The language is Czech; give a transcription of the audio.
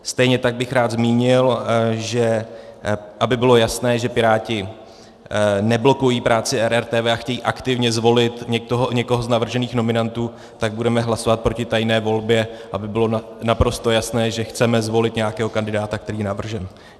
Stejně tak bych rád zmínil, že aby bylo jasné, že Piráti neblokují práci RRTV a chtějí aktivně zvolit někoho z navržených nominantů, tak budeme hlasovat proti tajné volbě, aby bylo naprosto jasné, že chceme zvolit nějakého kandidáta, který je navržen.